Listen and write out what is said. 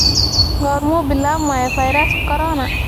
Goormuu bilaabmay fayraska corona?